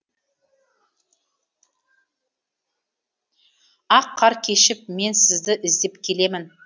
ақ қар кешіп мен сізді іздеп келемін